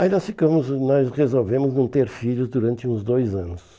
Aí nós ficamos, nós resolvemos não ter filhos durante uns dois anos.